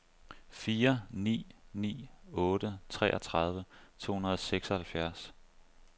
fire ni ni otte treogtredive to hundrede og seksoghalvfjerds